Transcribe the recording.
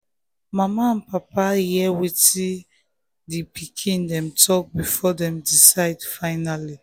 mama and papa hear wetin di wetin di pikin dem talk before dem decide finally.